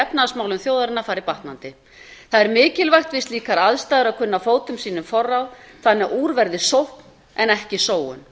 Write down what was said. efnahagsmálum þjóðarinnar farið batnandi það er mikilvægt við slíkar aðstæður að kunna fótum sínum forráð þannig að úr verði sókn en ekki sóun